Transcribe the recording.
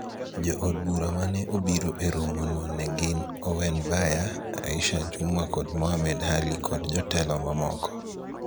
Jo od bura mane obiro e romo no ne gin Owen Baya, Aisha Jumwa kod Mohammed Ali kod jotelo mamoko.